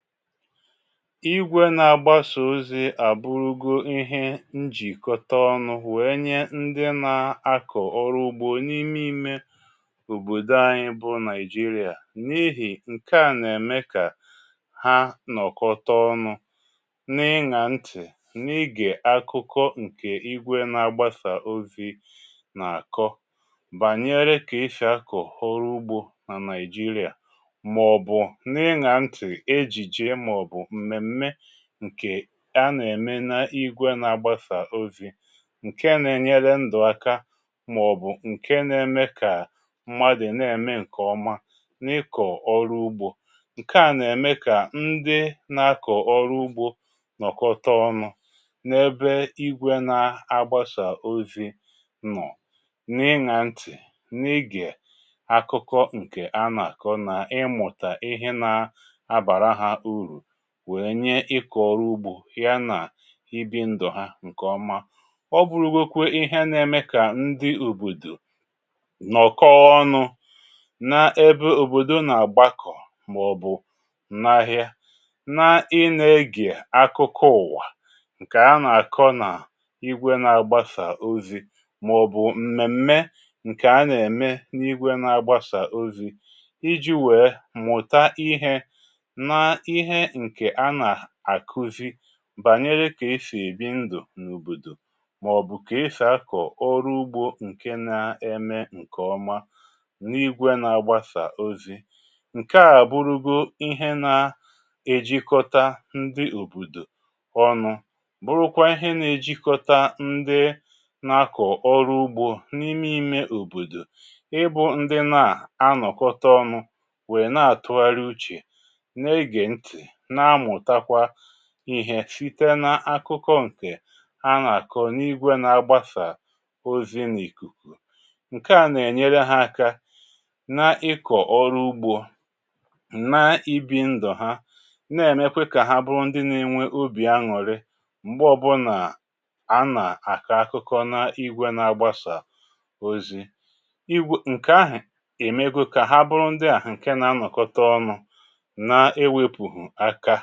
Igwe na-agbasà ozi à bụrụgo ihe njìkọta ọnụ̇ wèè nye ndị nà-akọ̀ ọrụ ugbȯ n’ime imė òbòdò anyị bụ Nàịjirià n’ihì ǹkè a nà-ème kà ha nọ̀kọta ọnụ na-ịṅȧ ntị̀, na-ịgè akụkọ ǹkè igwe na-agbasà ozi nà àkọ bànyere kà eshi akọ̀ ọrụ ugbȯ nà Nàịjirià mà ọ̀ bụ̀ na-ịṅȧ ntị̀ ejije mà ọ̀ bụ̀ mmemme ǹkè a nà-ème na igwe na-agbasà ozi ǹke nà-ènyere ndụ̀ aka màọbụ̀ ǹke na-eme kà mmadụ̀ na-ème ǹkè ọma n’ịkọ̀ ọrụ ugbȯ. Ǹke à nà-ème kà ndị na-akọ̀ ọrụ ugbȯ nọ̀kọta ọnụ̇ n’ebe igwe na-agbasà ozi nọ, na-ịnȧ ǹtị̀, na-ịgè akụkọ ǹkè a nà-àkọ na ịmụ̀tà ihe na-abara ha uru wee nye ịkọ̀ ọrụ ugbȯ ya nà ibi ndụ̀ ha ǹkè ọma. Ọ bụrụ̀gwokwė ihe na-eme kà ndi òbòdò nọ̀kọ ọnụ na-ebė òbòdò nà- àgbakọ̀ mà ọ̀ bụ̀ n’ahịa na i na-egè akụkụ ụ̀wà ǹkè a nà-àkọ n’igwė na-agbasa ozi̇ mà ọ̀ bụ̀ m̀mèm̀me ǹkè a nà-ème n’igwė na-agbasa ozi̇ iji̇ wèe mụ̀ta ihe na ihe ǹkè a nà-àkuzi bànyere kà eshì èbi ndù n’òbòdò mà ọ̀ bụ̀ kà ehsì akọ̀ ọrụ ugbȯ ǹke na-eme ǹkè ọma n’igwe na-agbasà ozi. Ǹkè a bụrụgo ihe na-ejikọta ndị òbòdò ọnụ, bụrụkwa ihe na-ejikọta ndị na-akọ̀ ọrụ ugbȯ n’ime ime òbòdò ịbụ̇ ndị nà a nọkọta ọnụ̇ wèe na-àtụgharị uchè, na-ege nti, na-amụtakwa ihe shìte n’akụkọ ǹkè a nà-àkọ n’igwė n’agbasa ozi n’ìkùkù. Ǹke à nà-ènyere ha aka na ịkọ̀ ọrụ ugbȯ, na-ibi ndụ̀ ha na-èmekwe kà ha bụrụ ndị nȧ-enwe obì aṅụ̀rị m̀gbè ọbụnà a nà-àka akụkọ na-igwė na-agbasa ozi. Igwė ǹkè ahụ̀ èmego kà ha bụrụ ndị àhụ ǹke nà-anọ̀kọta ọnụ na-ewepuhu aka